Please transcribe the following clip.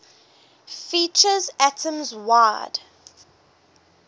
features atoms wide